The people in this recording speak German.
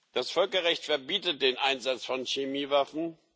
Das Völkerrecht verbietet den Einsatz von Chemiewaffen.